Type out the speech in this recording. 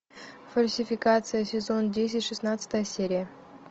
фальсификация сезон десять шестнадцатая серия